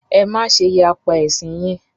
Ẹ má ṣe yapa ẹ̀sìn yín!